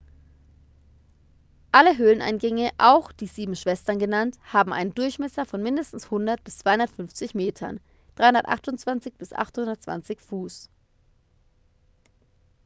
alle höhleneingänge auch die sieben schwestern genannt haben einen durchmesser von mindestens 100 bis 250 metern 328 bis 820 fuß